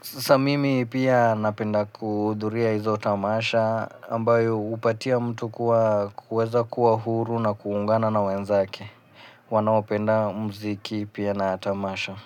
Sasa mimi pia napenda kudhuria hizo tamasha ambayo upatia mtu kuweza kuwa huru na kuungana na wenzake. Wanaopenda muziki pia na tamasha.